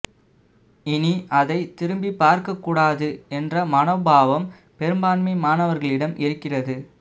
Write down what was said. இனி அதை திருப்பிப் பார்க்க கூடாது என்ற மனோபாவம் பெரும்பான்மை மாணவர்களிடம் இருக்கிறது